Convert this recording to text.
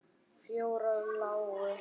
Fjórar lágu.